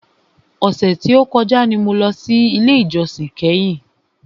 Ọ̀sẹ̀ tí o kọjá ni mo lọ sí ilé ìjósìn kẹ́hìn.